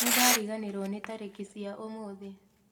Nĩndariganĩrwo nĩ tarĩki cia ũmũthĩ